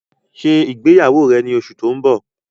Ṣé ìgbéyàwó rẹ ni oṣù ti o n bọ̀!